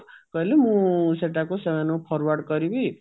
କଲେ ମୁଁ ସେଟାକୁ ସେମାନକୁ forward କରିବି